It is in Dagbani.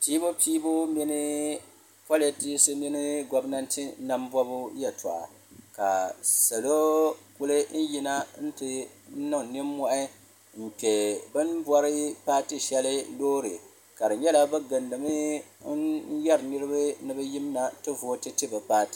pɛbupɛbu mini politɛsi nyɛ bɛ gominatɛ nami bɔbu yɛ tuɣ' ka sola kuli yɛna bɛ niŋ nimohi n kpɛri bɛn bɔri patɛ shɛli Lori ka di nyɛla be gilidimi n yɛra niriba ni bɛ yimina ti vutɛ ti be paatɛ